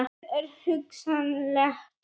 Það er hugsanlegt.